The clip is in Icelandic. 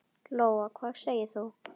Lóa: Hvað segir þú?